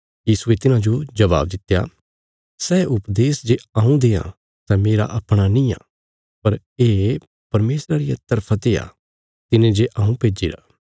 यीशुये तिन्हांजो जबाब दित्या सै उपदेश जे हऊँ देआं सै मेरा अपणा निआं पर ये परमेशरा रिया तरफा ते आ तिने जे हऊँ भेज्जिरा